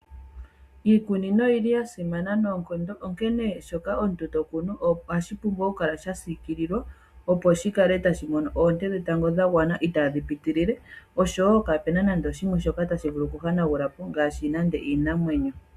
Iikunino oyili yasimana noonkondo, onkene mpoka omuntu tokunu ohashi pumbwa okukala shasikililwa opo shikale tashimono oonte dhetango dhagwana itadhi pitilile, osho wo kaapuna nande oshimwe shoka tashivulu okuhanagula po ngaashi nande iinamwenyo.